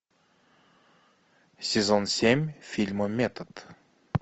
сезон семь фильма метод